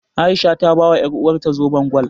A'isha ta bawa ƴaruwarta zoben gwal.